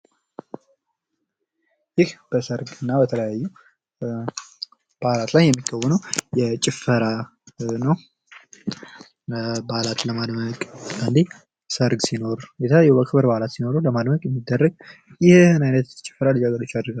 ይህ በሰርግ እና በተለያዩ በአላት ላይ የሚከዎነው ጭፈራ ነው። በአላቱን ለማድመቅ የሚደረግ ነው።